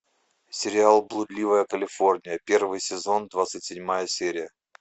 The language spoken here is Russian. сериал блудливая калифорния первый сезон двадцать седьмая серия